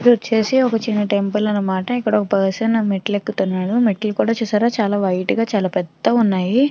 ఏది వచేసి ఏది వక చిన్న టెంపుల్ అన్నమాట. ఒక పర్సన్ మెట్లు ఎక్కుతున్నాడు. మెట్లు కూడా చూసారా చాల వైట్ గ పెద్ద గ ఉన్నాయి.